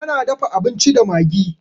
Ta na dafa abinci da magi.